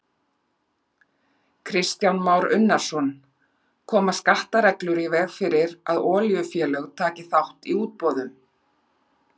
Kristján Már Unnarsson: Koma skattareglur í veg fyrir að olíufélög taki þátt í útboðum?